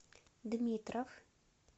дмитров